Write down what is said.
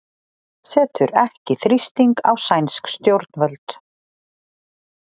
Setur ekki þrýsting á sænsk stjórnvöld